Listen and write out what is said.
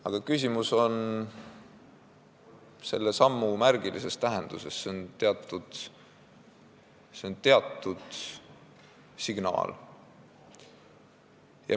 Aga küsimus on selle sammu märgilises tähenduses – see on teatud signaal.